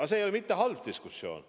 Aga see ei ole mitte halb diskussioon.